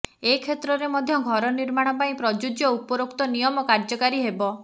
ଏ କ୍ଷେତ୍ରରେ ମଧ୍ୟ ଘର ନିର୍ମାଣ ପାଇଁ ପ୍ରଯୁଜ୍ୟ ଉପରୋକ୍ତ ନିୟମ କାର୍ଯ୍ୟକାରୀ ହେବ